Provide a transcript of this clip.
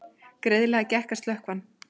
Greiðlega gekk að slökkva hann